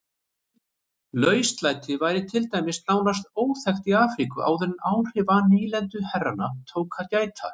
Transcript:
Lauslæti var til dæmis nánast óþekkt í Afríku áður en áhrifa nýlenduherrana tók að gæta.